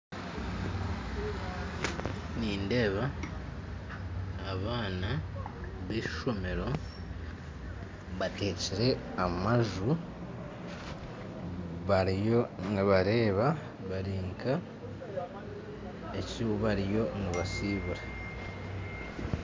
Nindeeba abaana b'eishomero bateekire amaju bariyo nibareeba bari nka abaine eki bariyo nibasiibura.